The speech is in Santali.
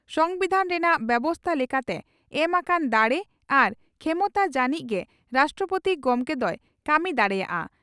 ᱥᱚᱢᱵᱤᱫᱷᱟᱱ ᱨᱮᱱᱟᱜ ᱵᱮᱵᱚᱥᱛᱟ ᱞᱮᱠᱟᱛᱮ ᱮᱢ ᱟᱠᱟᱱ ᱫᱟᱲᱮ ᱟᱨ ᱠᱷᱮᱢᱚᱛᱟ ᱡᱟᱱᱤᱡ ᱜᱮ ᱨᱟᱥᱴᱨᱚᱯᱳᱛᱤ ᱜᱚᱢᱠᱮ ᱫᱚᱭ ᱠᱟᱹᱢᱤ ᱫᱟᱲᱮᱭᱟᱜᱼᱟ ᱾